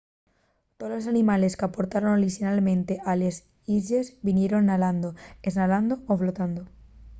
tolos animales qu’aportaron orixinalmente a les islles vinieron nalando esnalando o flotando